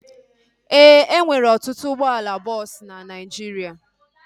E nwere ọtụtụ ụgbọala bọọsu na Naijiria